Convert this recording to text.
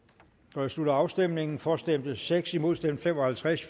jeg slutter afstemningen for stemte seks imod stemte fem og halvtreds